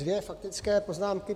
Dvě faktické poznámky.